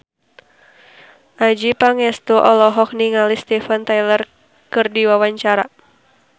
Adjie Pangestu olohok ningali Steven Tyler keur diwawancara